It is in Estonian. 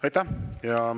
Aitäh!